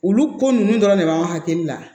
Olu ko nunnu dɔrɔn de b'an hakili la